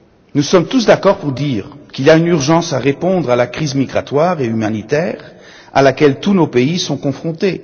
Nous sommes tous d'accord pour dire qu'il est urgent de répondre à la crise migratoire et humanitaire à laquelle tous nos pays sont confrontés.